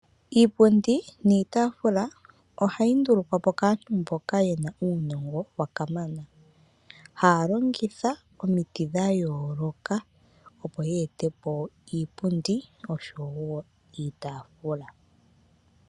Iipundi niitaafula ohayi ndulukwa po kaantu mboka ye na uunongo. Haya longitha omiti dha yooloka opo ya ete po iipundi oshowo iitaafula.